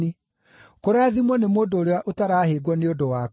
Kũrathimwo nĩ mũndũ ũrĩa ũtarahĩngwo nĩ ũndũ wakwa.”